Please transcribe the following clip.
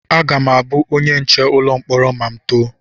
Aga m abụ onye nche ụlọ mkpọrọ ma m too